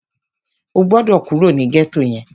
O gbọ́dọ̀ kúrò ní gẹ́tò yẹn!